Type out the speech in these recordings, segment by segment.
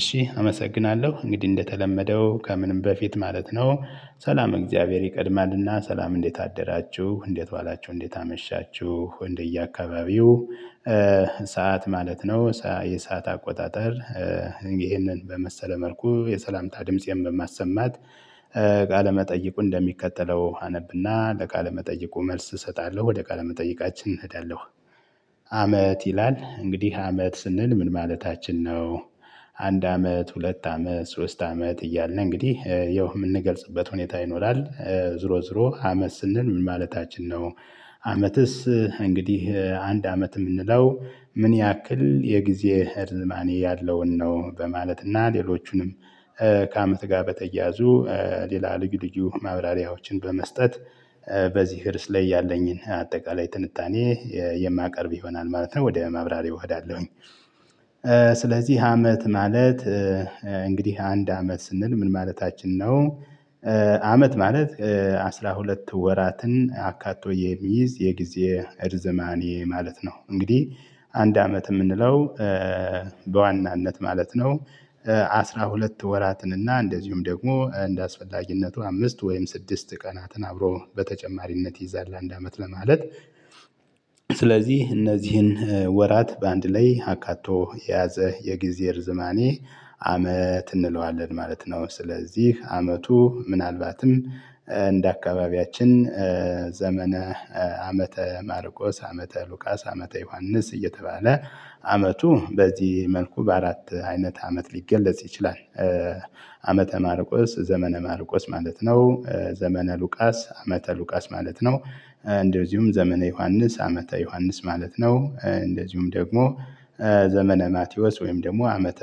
እሺ አመሰግናለሁ እንግዲህ እንደተለመደው ከምንም በፊት ማለት ነው። ሰላመ እግዚአብሔር ይቀድማልና ሰላም እንዴት አደራችሁ እንዴት ዋላችሁ እንዴት አመሻችሁ እንደየአካባቢው ሰዓት ማለት ነው የሰዓት አቆጣጠር። ይህንን በመሰለ መልኩ የሰላምታ ድምፄን በማሰማት። ቃለ መጠየቁን መጠይቁ እንደሚከተለው አነብና ለቃለ መጠይቁ መልስ እሰጣለሁ ወደ ቃለ መጠይቃችን እሄዳለሁ። አመት ይላል እንግዲህ አመት ስንል ምን ማለታችን ነው? አንድ አመት ሁለት አመት ሶስት አመት እያልን እንግዲህ ያው የምንገልጽበት ሁኔታ ይኖራል። ዞሮ ዞሮ አመት ስንል ምን ማለታችን ነው? አመትስ እንግዲህ አንድ አመት የምንለው ምን ያክል የጊዜ እርዝማኔ ያለውን ነው? በማለት እና ሌሎቹንም ከአመት ጋር በተያዙ ሌላ ልዩ ልዩ ማብራሪያዎችን በመስጠት። በዚህ እርስ ላይ ያለኝን አጠቃላይ ትንታኔ የማቀርብ ይሆናል ማለት ነው ወደ ማብራሪያው እሄዳለሁኝ። ስለዚህ አመት ማለት እንግዲህ አንድ አመት ስንል ምን ማለታችን ነው? አመት ማለት አስራ ሁለት ወራትን አካቶ የሚይዝ የጊዜ እርዝማኔ ማለት ነው። እንግዲህ አንድ አመት የምንለው በዋናነት ማለት ነው። አስራ ሁለት ወራትን እና እንደዚሁም ደግሞ እንደአስፈላጊነቱ አምስት ወይም ስድስት ቀናትን አብሮ በተጨማሪነት ይይዛል አንድ አመት ለማለት። ስለዚህ እነዚህን ወራት በአንድ ላይ አካቶ የያዘ የጊዜ ርዝማኔ አመት እንለዋለን ማለት ነው። ስለዚህ አመቱ ምናልባትም እንደ አካባቢያችን ዘመነ ዓመተ ማርቆስ ዓመተ ሉቃስ ዓመተ ዮሐንስ እየተባለ አመቱ በዚህ መልኩ በአራት አይነት አመት ሊገለጽ ይችላል። ዓመተ ማርቆስ ዘመነ ማርቆስ ማለት ነው ዘመነ ሉቃስ ዓመተ ሉቃስ ማለት ነው። እንደዚሁም ዘመነ ዮሐንስ ዓመተ ዮሐንስ ማለት ነው። እንደዚሁም ደግሞ ዘመነ ማቴዎስ ወይም ደግሞ ዓመተ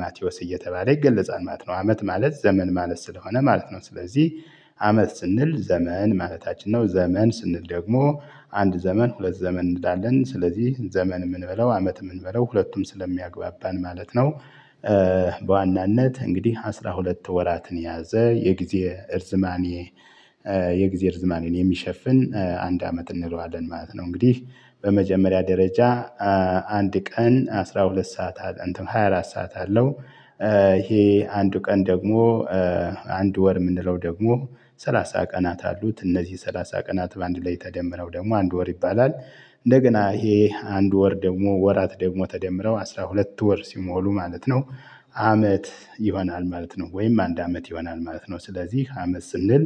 ማቴዎስ እየተባለ ይገለጻል ማለት ነው። አመት ማለት ዘመን ማለት ስለሆነ ማለት ነው። ስለዚህ አመት ስንል ዘመን ማለታችን ነው። ዘመን ስንል ደግሞ አንድ ዘመን ሁለት ዘመን እንላለን ስለዚህ ዘመንም እንበለው አመትም እንበለው ሁለቱም ስለሚያግባባን ማለት ነው። በዋናነት እንግዲህ አስራ ሁለት ወራትን የያዘ የጊዜ እርዝማኔ የጊዜ እርዝማኔን የሚሸፍን አንድ አመት እንለዋለን ማለት ነው። እንግዲህ በመጀመሪያ ደረጃ አንድ ቀን አስራ ሁለት ሰዓት አለ እንትን ሃያ አራት ሰዓት አለው። ይሄ አንዱ ቀን ደግሞ አንድ ወር የምንለው ደግሞ ሰላሳ ቀናት አሉት እነዚህ ሰላሳ ቀናት በአንድ ላይ ተደምረው ደግሞ አንድ ወር ይባላል። እንደገና ይሄ አንድ ወር ደግሞ ወራት ደግሞ ተደምረው አስራ ሁለት ወር ሲሞሉ ማለት ነው። አመት ይሆናል ማለት ነው። ወይም አንድ አመት ይሆናል ማለት ነው። ስለዚህ አመት ስንል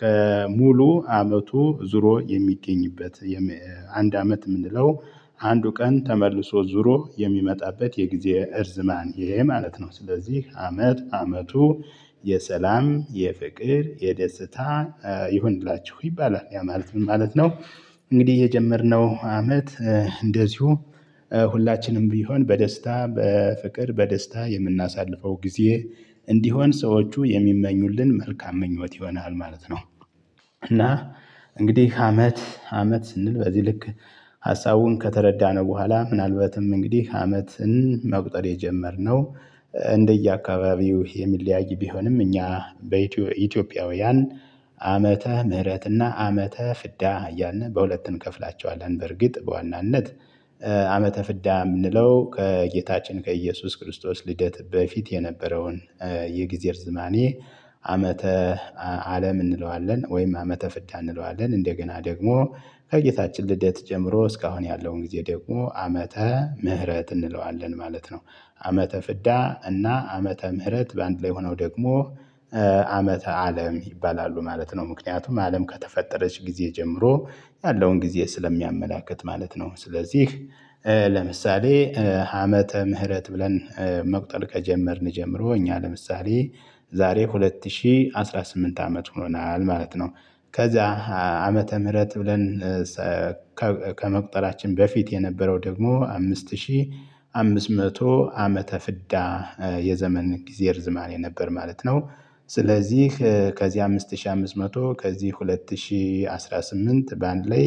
ከሙሉ አመቱ ዞሮ የሚገኝበት አንድ አመት የምንለው አንዱ ቀን ተመልሶ ዙሮ የሚመጣበት የጊዜ እርዝማኔ ማለት ነው። ስለዚህ አመት አመቱ የሰላም የፍቅር የደስታ ይሁንላችሁ ይባላል ያ ማለት ምን ማለት ነው? እንግዲህ የጀመርነው አመት እንደዚሁ ሁላችንም ቢሆን በደስታ በፍቅር በደስታ የምናሳልፈው ጊዜ እንዲሆን ሰዎቹ የሚመኙልን መልካም ምኞት ይሆናል ማለት ነው። እና እንግዲህ አመት አመት ስንል በዚህ ልክ ሀሳቡን ከተረዳነ በኋላ ምናልባትም እንግዲህ አመትን መቁጠር የጀመርነው እንደየአካባቢው የሚለያይ ቢሆንም እኛ በኢትዮ ኢትዮጵያውያን ዓመተ ምህረትና ዓመተ ፍዳ እያልን በሁለት እንከፍላቸዋለን። በእርግጥ በዋናነት ዓመተ ፍዳ የምንለው ከጌታችን ከኢየሱስ ክርስቶስ ልደት በፊት የነበረውን የጊዜ እርዝማኔ። ዓመተ አለም እንለዋለን ወይም ዓመተ ፍዳ እንለዋለን እንደገና ደግሞ ከጌታችን ልደት ጀምሮ እስካሁን ያለውን ጊዜ ደግሞ ዓመተ ምህረት እንለዋለን ማለት ነው። ዓመተ ፍዳ እና ዓመተ ምህረት በአንድ ላይ ሆነው ደግሞ ዓመተ አለም ይባላሉ ማለት ነው። ምክንያቱም አለም ከተፈጠረች ጊዜ ጀምሮ ያለውን ጊዜ ስለሚያመላክት ማለት ነው። ስለዚህ ለምሳሌ ዓመተ ምህረት ብለን መቁጠር ከጀመርን ጀምሮ እኛ ለምሳሌ ዛሬ ሁለት ሺህ አስራ ስምንት አመት ሆኖናል ማለት ነው። ከዛ ዓመተ ምህረት ብለን ከመቁጠራችን በፊት የነበረው ደግሞ አምስት ሺህ አምስት መቶ ዓመተ ፍዳ የዘመን ጊዜ እርዝማኔ ነበር። ማለት ነው። ስለዚህ ከዚህ አምስት ሺህ አምስት መቶ ከዚህ ሁለት ሺህ አስራ ስምንት በአንድ ላይ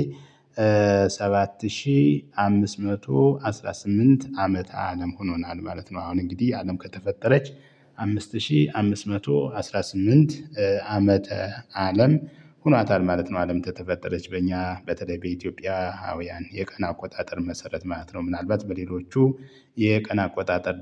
ሰባት ሺህ አምስት መቶ አስራ ስምንት አመት አለም ሆኖናል ማለት ነው። አሁን እንግዲህ አለም ከተፈጠረች አምስት ሺህ አምስት መቶ አስራ ስምንት ዓመተ አለም ሆኗታል ማለት ነው። አለም ከተፈጠረች በእኛ በተለይ በኢትዮጵያዊያን የቀን አቆጣጠር መሰረት ማለት ነው። ምናልባት በሌሎቹ የቀን አቆጣጠር ደግሞ